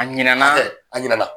A ɲina na a ɲina na.